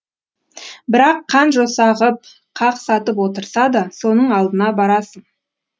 бірақ қан жоса ғып қақ сатып отырса да соның алдына барасың